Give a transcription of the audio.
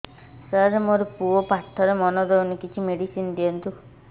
ସାର ମୋର ପୁଅ ପାଠରେ ମନ ଦଉନି କିଛି ମେଡିସିନ ଦିଅନ୍ତୁ